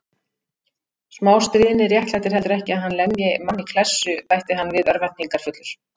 Smástríðni réttlætir heldur ekki að hann lemji mann í klessu bætti hann við örvæntingarfullur.